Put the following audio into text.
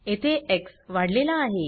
येथे एक्स वाढलेला आहे